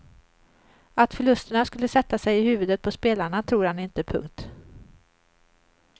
Att förlusterna skulle sätta sig i huvudet på spelarna tror han inte. punkt